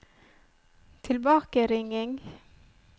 tilbakeringing